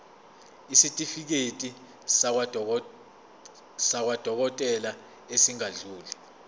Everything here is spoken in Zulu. isitifiketi sakwadokodela esingadluli